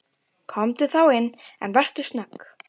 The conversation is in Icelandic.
Komdu þá inn, en vertu snögg.